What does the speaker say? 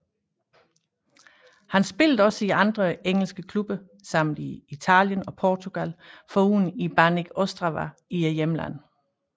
Han spillede også i andre engelske klubber samt i Italien og Portugal foruden i Banik Ostrava i hjemlandet